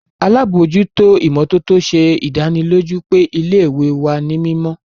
Alabojuto imototo ṣe idaniloju pe ile-iwe wa ni mimọ.